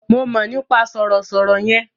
Mo mọ̀ nípa sọ̀rọ̀ sọ̀rọ̀ yẹn.